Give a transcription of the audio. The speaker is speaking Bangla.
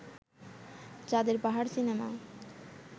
চাঁদের পাহাড় সিনেমা